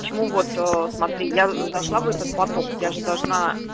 почему вот смотри я зашла в этот поток я же должна